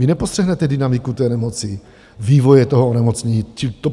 Vy nepostřehnete dynamiku té nemoci, vývoje toho onemocnění.